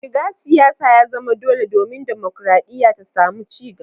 Shiga siyasa ya zama dole domin dimokradiyya ta samu ci gaba.